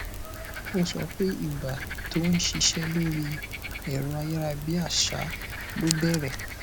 ó sọ pé ìgbà tó ń ṣiṣẹ lórí ẹrọ ayárabíàṣá ló bẹrẹ